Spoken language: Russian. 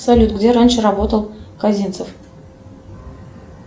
салют где раньше работал козинцев